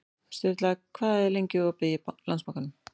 Sturla, hvað er opið lengi í Landsbankanum?